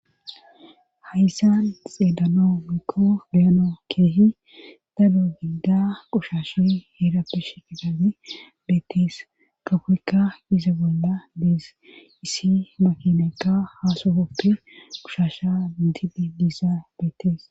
Hayssan xeedano miikko beyano keehi dadu gigida qushashe heerappishe qesabe beettees kafoykka ise bolla dees issi makinekka haasofoppe qushasha ididi diisa beettees.